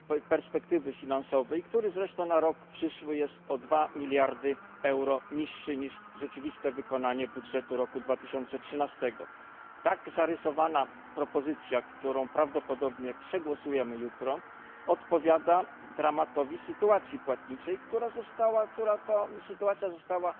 perspektywy finansowej, który zresztą na rok przyszły jest o 2 miliardy euro niższy niż rzeczywiste wykonanie budżetu roku 2013. Tak zarysowana propozycja, którą prawdopodobnie przegłosujemy jutro, odpowiada dramatycznej sytuacji płatniczej, która została bardzo dokładnie zarysowana